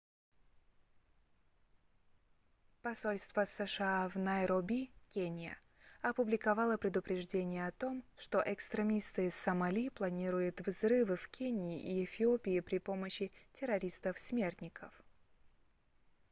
посольство сша в найроби кения опубликовало предупреждение о том что экстремисты из сомали планируют взрывы в кении и эфиопии при помощи террористов-смертников